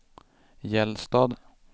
Gällstad